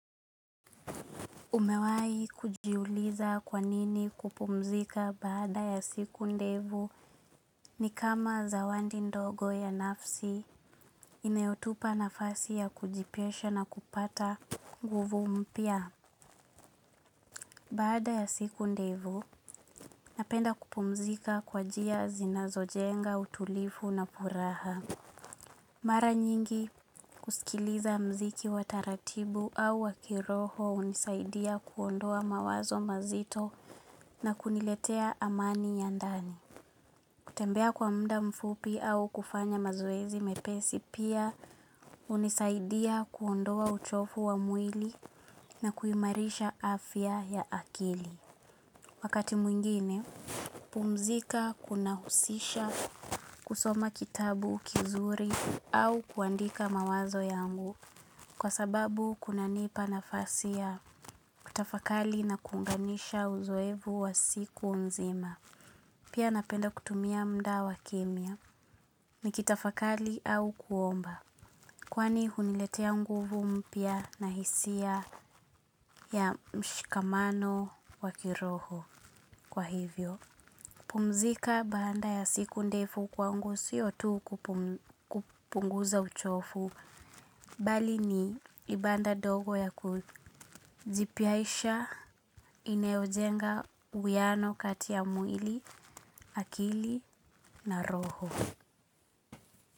Umewai kujiuliza kwanini kupumzika baada ya siku ndevu ni kama zawandi ndogo ya nafsi inayotupa nafasi ya kujipoesha na kupata nguvu mpya. Baada ya siku ndevu napenda kupumzika kwa jia zinazo jenga utulifu na puraha. Mara nyingi kusikiliza mziki wa taratibu au wakiroho unisaidia kuondoa mawazo mazito na kuniletea amani ya ndani. Kutembea kwa mda mfupi au kufanya mazoezi mepesi pia unisaidia kuondoa uchofu wa mwili na kuimarisha afya ya akili. Wakati mwingine, pumzika kuna husisha kusoma kitabu kizuri au kuandika mawazo yangu kwa sababu kuna nipa nafasiya kutafakali na kunganisha uzoevu wa siku nzima. Pia napenda kutumia muda wa kimya nikitafakali au kuomba. Kwani huniletea nguvu mpya na hisia ya mshikamano wakiroho kwa hivyo. Pumzika baanda ya siku ndefu kwangu siyotu kupunguza uchofu, bali ni ibanda dogo ya kujipiaisha inayojenga uwiano katiya mwili, akili na roho.